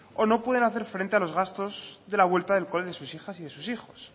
o no pueden hacer frente a los gastos de la vuelta al cole de sus hijas y de sus hijos